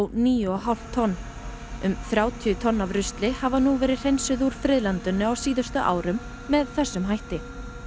níu og hálft tonn um þrjátíu tonn af rusli hafa nú verið hreinsuð úr friðlandinu á síðustu árum með þessum hætti